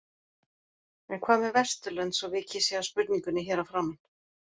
En hvað með Vesturlönd svo vikið sé að spurningunni hér að framan?